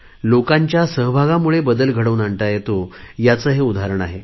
लोकांच्या सहभागामुळे बदल घडवून आणता येतो ह्याचे हे उदाहरण आहे